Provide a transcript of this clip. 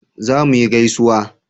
za mu yi gaisuwa